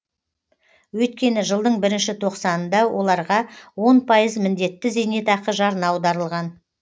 өйткені жылдың бірінші тоқсанында оларға он пайыз міндетті зейнетақы жарна аударылған